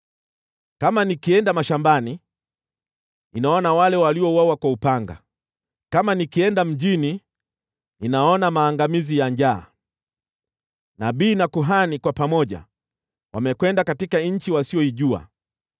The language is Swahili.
Kama nikienda mashambani, ninaona wale waliouawa kwa upanga; kama nikienda mjini, ninaona maangamizi ya njaa. Nabii na kuhani kwa pamoja wamekwenda katika nchi wasiyoijua.’ ”